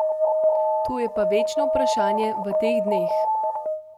To je pa večno vprašanje v teh dneh.